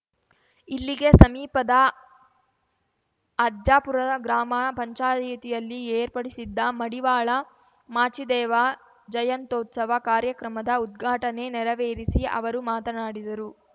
ಇಲ್ಲಿಗೆ ಸಮೀಪದ ಅಜ್ಜಪುರದ ಗ್ರಾಮ ಪಂಚಾಯಿತಿಯಲ್ಲಿ ಏರ್ಪಡಿಸಿದ್ದ ಮಡಿವಾಳ ಮಾಚಿದೇವ ಜಯಂತೋತ್ಸವ ಕಾರ್ಯಕ್ರಮದ ಉದ್ಘಾಟನೆ ನೆರವೇರಿಸಿ ಅವರು ಮಾತನಾಡಿದರು